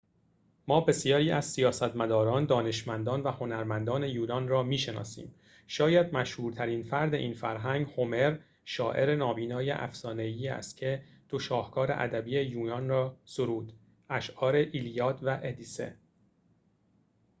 ما بسیاری از سیاستمداران دانشمندان و هنرمندان یونان را می‌شناسیم شاید مشهورترین فرد این فرهنگ هومر شاعر نابینای افسانه‌ای است که دو شاهکار ادبی یونان را سرود اشعار ایلیاد و ادیسه